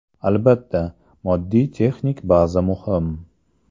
Albatta, moddiy-texnik baza muhim.